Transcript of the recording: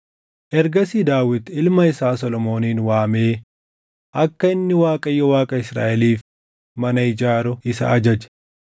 Ergasii Daawit ilma isaa Solomoonin waamee akka inni Waaqayyo Waaqa Israaʼeliif mana ijaaru isa ajaje.